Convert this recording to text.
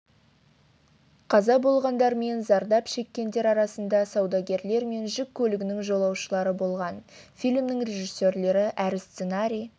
қаза болғандар мен зардап шеккендер арасында саудагерлер мен жүк көлігінің жолаушылары болған фильмнің режиссерлері әрі сценарий